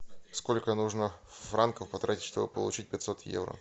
сколько нужно франков потратить чтобы получить пятьсот евро